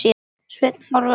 Sveinn horfði á hana.